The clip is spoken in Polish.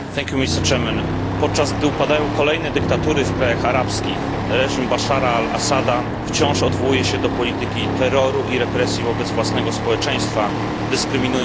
Podczas gdy upadają kolejne dyktatury w krajach arabskich reżim Bashara al Assada wciąż odwołuje się do polityki terroru i represji wobec własnego społeczeństwa, dyskryminując prawa człowieka.